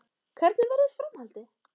Hvernig verður framhaldið?